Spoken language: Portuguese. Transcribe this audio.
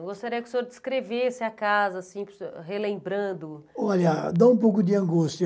Eu gostaria que o senhor descrevesse a casa, assim para o senhor, relembrando... Olha, dá um pouco de angústia.